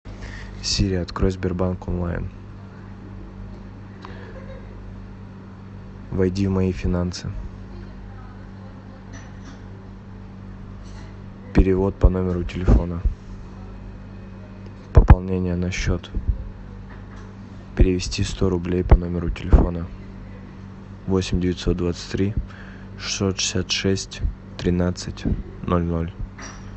сири открой сбербанк онлайн войди в мои финансы перевод по номеру телефона пополнение на счет перевести сто рублей по номеру телефона восемь девятьсот двадцать три шестьсот шестьдесят шесть тринадцать ноль ноль